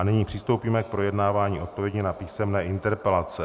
A nyní přistoupíme k projednávání odpovědi na písemné interpelace.